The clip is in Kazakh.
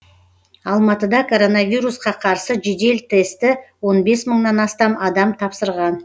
алматыда коронавирусқа қарсы жедел тестті он бес мыңнан астам адам тапсырған